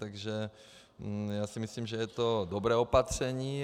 Takže já si myslím, že je to dobré opatření.